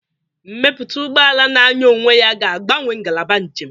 Mmepụta ụgbọ ala na-anya onwe ya ga-agbanwe ngalaba njem.